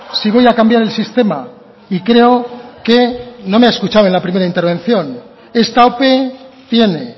si voy a cambiar el sistema y creo que no me ha escuchado en la primera intervención esta ope tiene